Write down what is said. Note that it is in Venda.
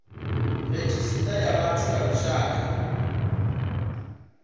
redzhisita ya vhathu ya lushaka